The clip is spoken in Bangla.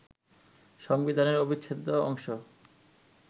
সংবিধানের অবিচ্ছেদ্য অংশ